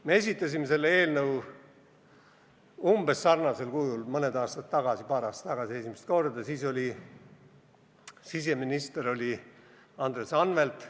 Me esitasime selle eelnõu esimest korda umbes sarnasel kujul mõned aastad tagasi, paar aastat tagasi, kui siseministriks oli Andres Anvelt.